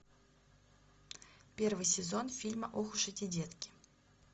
первый сезон фильма ох уж эти детки